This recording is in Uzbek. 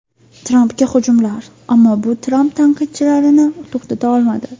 Trampga hujumlar Ammo bu Tramp tanqidchilarini to‘xtata olmadi.